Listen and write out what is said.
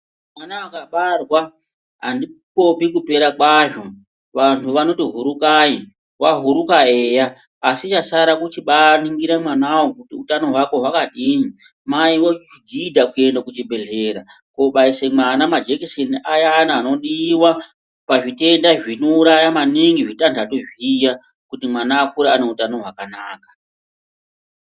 Mwana akabarwa handipopi kupera kwazvo vantu vanoti hurukai wahuruka eya ASI chasara kuningira mwana wo kuti utano hwakadini Mai vogidha kuenda kuchibhehleya kuno baisa mwana majekiseni ayani anodiwa pazvitenda zvinouraya maningi zvitanhatu zviya kuti mwana akure ane utano hwakanaka.